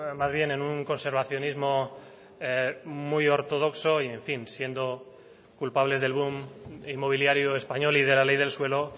más bien en un conservacionismo muy ortodoxo y en fin siendo culpables del boom inmobiliario español y de la ley del suelo